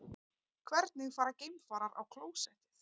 Hvernig fara geimfarar á klósettið?